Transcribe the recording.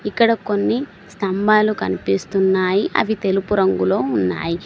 ఇక్కడ కొన్ని స్తంభాలు కనిపిస్తున్నాయి. అవి తెలుపు రంగులో ఉన్నాయి.